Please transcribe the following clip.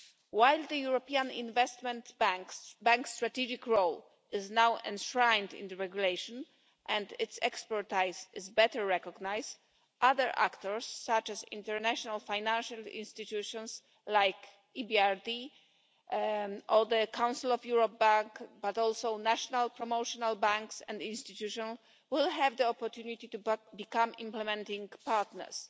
While the European Investment Bank's strategic role is now enshrined in the regulation and its expertise is better recognised, other actors such as international financial institutions like the EBRD or the Council of Europe bank, but also national promotional banks and institutions, will have the opportunity to become implementing partners.